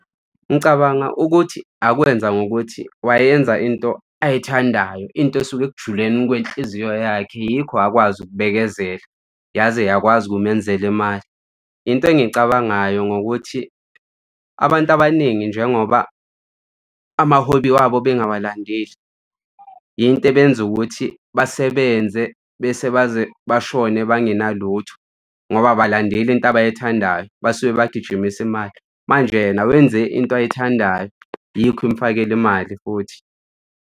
Ngicabanga ukuthi akwenza ngokuthi wayenza into ayithandayo into esuke ekujuleni kwenhliziyo yakhe yikho akwazi ukubekezela, yaze yakwazi ukumenzela imali. Into engiyicabangayo ngokuthi abantu abaningi njengoba amaholi wabo bengawalandeli yinto le eyenza ukuthi basebenze bese baze bashone bangena lutho ngoba abalandeli into abayithandayo basuke bagijimisa imali. Manje yena wenze into ayithandayo. Yikho imufakela imali futhi.